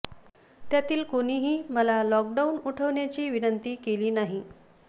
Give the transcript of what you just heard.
त्यातील कोणीही मला लॉक डाऊन उठवण्याची विनंती केली नाही